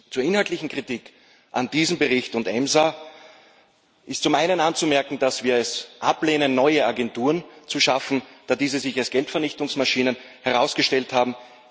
Zur inhaltlichen Kritik an diesem Bericht und EMSA ist zum einen anzumerken, dass wir es ablehnen, neue Agenturen zu schaffen, da diese sich als Geldvernichtungsmaschinen herausgestellt haben.